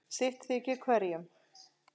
sitt þykir hverjum